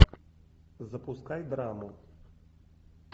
запускай драму